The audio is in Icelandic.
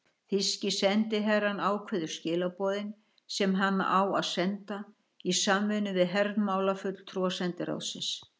Þýski sendiherrann ákveður skilaboðin, sem hann á að senda, í samvinnu við hermálafulltrúa sendiráðsins.